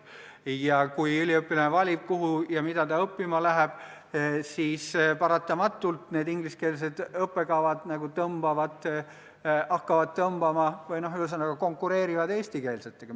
Ja kui üliõpilane valib, kuhu ja mida ta õppima läheb, siis paratamatult need ingliskeelsed õppekavad nagu tõmbavad ligi või konkureerivad eestikeelsetega.